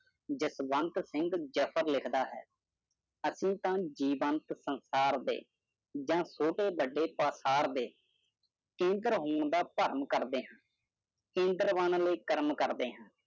ਜਸਵੰਤ ਸਿੰਘ ਜਫਰ ਲਿਖਦਾ ਹੈ ਅਸੀਂ ਤਾਂ ਜੀਵੰਤ ਸੰਸਾਰ ਦੇ ਜਾਂ ਛੋਟੇ ਵੱਡੇ ਪਾਸਾਰ ਦੇ ਕੇਦਰ ਹੋਣ ਦਾ ਭਰਮ ਕਰਦੇ ਹਾਂ । ਕੇਂਦਰ ਬਣਨ ਲਈ ਕਰਮ ਕਰਦੇ ਹਾਂ ।